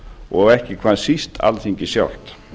og ekki hvað síst alþingi sjálft